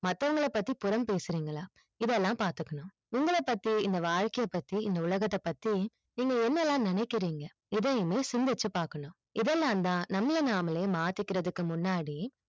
மத்தவங்கள பத்தி புரம் பேசுறிங்களா இதை எல்லாம் பாத்துக்கணும் உங்கள பத்தி இந்த வாழ்க்கை பத்தி இந்த உலகத்தை பத்தி நீங்க என்னயெல்லாம் நினைக்கிறிங்க எதையுமே சிந்திச்சு பாக்கக்கனும் இதை எல்லாம் தான் நம்மள நாமே மாத்திக்கிறது முன்னாடி